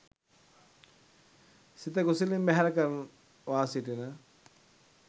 සිත කුසලින් බැහැර කරවා සිටින